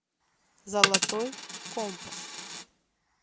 золотой компас